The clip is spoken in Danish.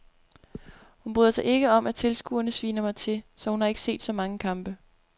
Hun bryder sig ikke om at tilskuerne sviner mig til, så hun har ikke set så mange kampe.